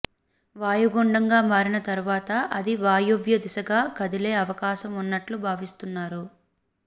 వాయుగుండంగా మారిన తరువాత అది వాయువ్య దిశగా కదిలే అవకాశం ఉన్నట్లు భావిస్తున్నారు